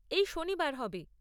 এই শনিবার হবে?